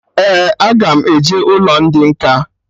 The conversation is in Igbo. Ee, aga m eje ụlọ ndị nkà